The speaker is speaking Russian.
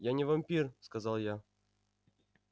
я не вампир сказал я